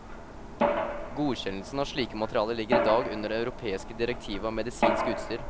Godkjennelsen av slike materialer ligger i dag under det europeiske direktivet om medisinsk utstyr.